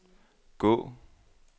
gå